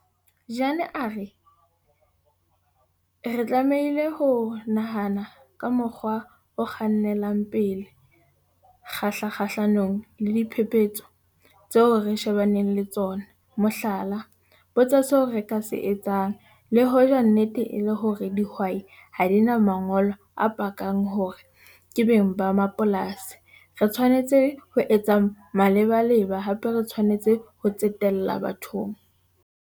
Jane a re, 'Re tlamehile ho nahana ka mokgwa o kgannelang pele kgahlanong le diphephetso tseo re shebaneng le tsona, mohlala. Botsa seo re ka se etsang, le hoja nnete e le hore dihwai ha di na mangolo a pakang hore ke beng ba mapolasi - re tshwanetse ho etsa malebaleba, hape re tshwanetse ho tsetela BATHONG'.